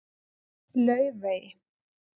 Laufey